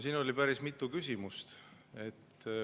Siin oli päris mitu küsimust.